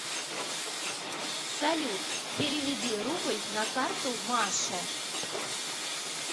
салют переведи рубль на карту маше